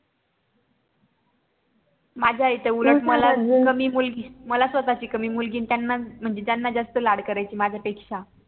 माझी आई तर उलट मला कमी मुलगी आणि त्यांच्या जास्त लाड करायची माझ्या पेक्षा